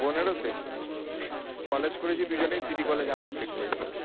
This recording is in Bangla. বোনের ও কলেজ করেছি দুজনেই সিটি কলেজ থেকে